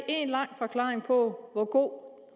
en lang forklaring på hvor